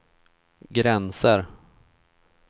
gränser